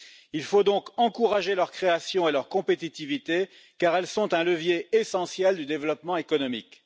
Il faut donc encourager leur création et leur compétitivité, car elles sont un levier essentiel du développement économique.